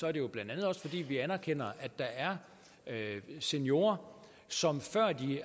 er det jo blandt andet også fordi vi anerkender at der er seniorer som